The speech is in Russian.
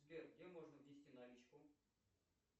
сбер где можно внести наличку